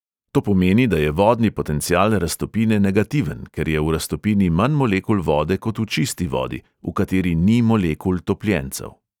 To pomeni, da je vodni potencial raztopine negativen, ker je v raztopini manj molekul vode kot v čisti vodi, v kateri ni molekul topljencev.